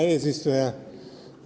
Hea eesistuja!